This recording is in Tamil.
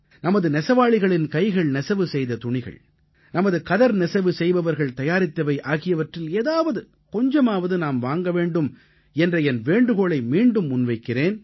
நமது நெசவாளிகளின் கைகள் நெசவு செய்த துணிகள் நமது கதர் நெசவு செய்பவர்கள் தயாரித்தவை ஆகியவற்றில் ஏதாவது கொஞ்சமாவது நாம் வாங்க வேண்டும் என்ற என் வேண்டுகோளை மீண்டும் முன்வைக்கிறேன்